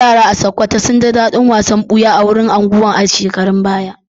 Yara a Sokoto sun ji dadin wasan buya a wurin shakatawar unguwar a shekarun baya.